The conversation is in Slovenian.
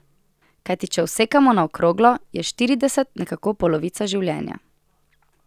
Kajti če vsekamo na okroglo, je štirideset nekako polovica življenja.